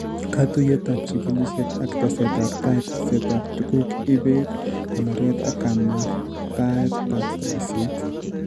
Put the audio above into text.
Katuiyetap chigilisyet ak tesetap tai, tesetap tuguuk, ibeet, konoret ak kamartaet ak boisyet